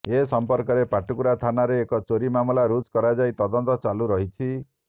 ଏ ସମ୍ପର୍କରେ ପାଟକୁରା ଥାନାରେ ଏକ ଚୋରୀ ମାମଲା ରୁଜୁ କରାଯାଇ ତଦନ୍ତ ଚାଲୁ ରହିଛି